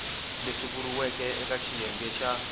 leswi vuriweke eka xiyenge xa